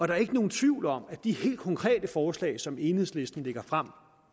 der er ikke nogen tvivl om at de helt konkrete forslag som enhedslisten lægger frem